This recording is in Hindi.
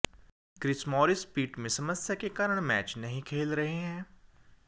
क्रिस मॉरिस पीठ में समस्या के कारण मैच नहीं खेल रहे हैं